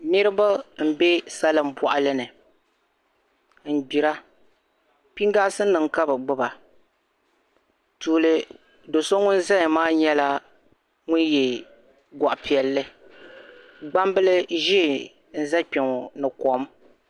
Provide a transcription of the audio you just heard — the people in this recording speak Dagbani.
Niribi n be salin bɔɣili ni. n gbira piŋ gaasi nim kabi gbuba. tuuli. do so ŋun zaya maa. nyala ŋun ye gɔɣ' piɛli gbambil zee. n-za kpeŋɔ ni kom.